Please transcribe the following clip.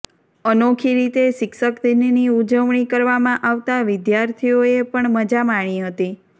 અનોખી રીતે શિક્ષક દિનની ઉજવણી કરવામાં આવતા વિદ્યાર્થીઓએ પણ મજા માણી હતી